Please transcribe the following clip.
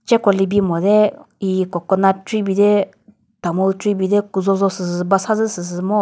cheko libi mo de hihi coconut tree bi de tamul tree bi de küzho zho süsü basa zü süsü ngo.